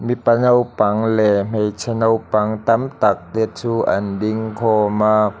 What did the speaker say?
mipa naupang leh hmeichhe naupang tam tak te chu an ding khawm a.